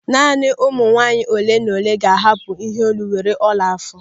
Naanị ụmụ nwaanyị ole na ole ga-ahapụ iheolu were ọla àfọ̀.